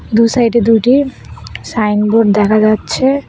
দু সাইডে দুটি সাইনবোর্ড দেখা যাচ্ছে।